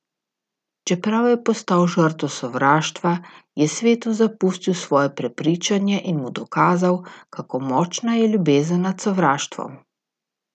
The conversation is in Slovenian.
Čeprav je postal žrtev sovraštva, je svetu zapustil svoje prepričanje in mu dokazal, kako močna je ljubezen nad sovraštvom.